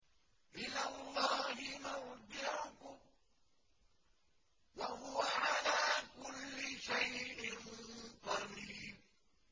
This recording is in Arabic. إِلَى اللَّهِ مَرْجِعُكُمْ ۖ وَهُوَ عَلَىٰ كُلِّ شَيْءٍ قَدِيرٌ